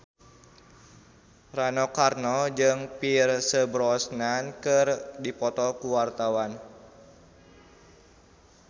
Rano Karno jeung Pierce Brosnan keur dipoto ku wartawan